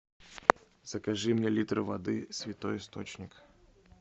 закажи мне литр воды святой источник